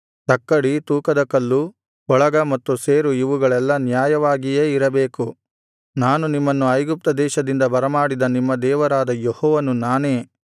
ತಕ್ಕಡಿ ತೂಕದ ಕಲ್ಲು ಕೊಳಗ ಮತ್ತು ಸೇರು ಇವುಗಳೆಲ್ಲಾ ನ್ಯಾಯವಾಗಿಯೇ ಇರಬೇಕು ನಾನು ನಿಮ್ಮನ್ನು ಐಗುಪ್ತದೇಶದಿಂದ ಬರಮಾಡಿದ ನಿಮ್ಮ ದೇವರಾದ ಯೆಹೋವನು ನಾನೇ